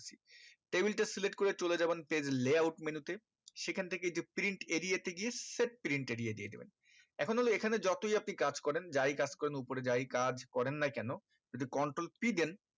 table টা select করে চলে যাবেন page layout menu তে সেখান থেকে যে print area তে গিয়ে set print area দিয়ে দেবেন এখন হলো এই খানে যতই আপনি কাজ করেন যাই কাজ করেন উপরে যাই কাজ করেন না কেন যদি control p দেন